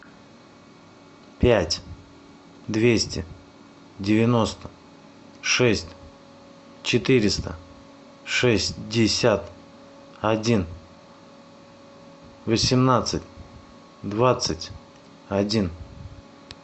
пять двести девяносто шесть четыреста шестьдесят один восемнадцать двадцать один